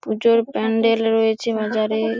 পুজোর প্যান্ডেল রয়েছে বাজারে-এ--